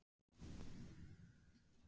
En hvað verður síðan gert við allan peninginn?